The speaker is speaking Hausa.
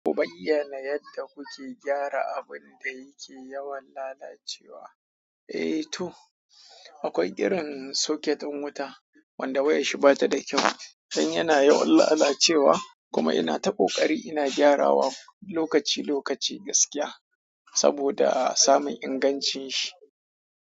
Ku bayyana yadda kuke gyara abunda yake yawan lalacewa. Eh toh, akwai irin socket ɗin wuta wanda wayanshi batada kyau don yana yawan lalacewa kuma ina ta ƙoƙarin ina gyarawa lokaci-lokaci gaskiya. Saboda samun ingancin shi.